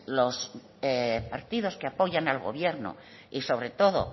los partidos que apoyan al gobierno y sobre todo